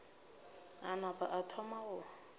a napa a thoma go